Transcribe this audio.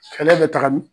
Fɛɛrɛ bɛ taga nin